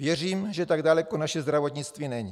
Věřím, že tak daleko naše zdravotnictví není.